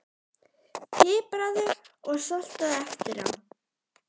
Pipraðu og saltaðu eftir á.